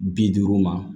Bi duuru ma